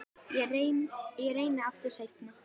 Ég reyni aftur seinna